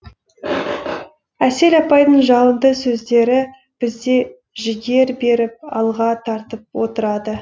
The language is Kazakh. әсел апайдың жалынды сөздері бізге жігер беріп алға тартып отырады